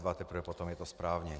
Teprve potom je to správně.